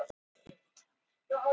Brotist inn í bakarí